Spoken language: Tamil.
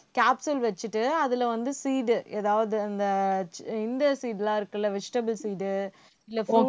capsule வச்சிட்டு அதுல வந்து seed எதாவது அந்த இந்த seed எல்லாம் இருக்குல்ல vegetable seed உ இல்லை